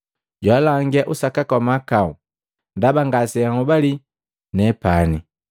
Jaalangia usakaka wa mahakau, ndaba ngaseanhobale nepani,